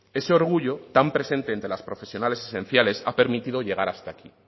ese orgullo tan presente entre las profesionales esenciales ha permitido llegar hasta aquí